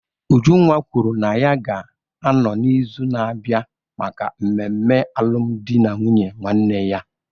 Ujunwa kwuru na ya ga-anọ n'izu na-abịa maka mmemme alụmdi na nwunye nwanne ya.